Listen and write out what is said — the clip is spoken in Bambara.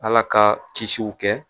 Ala ka kisiw kɛ.